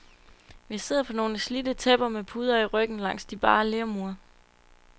Vi sidder på nogle slidte tæpper med puder i ryggen langs de bare lermure.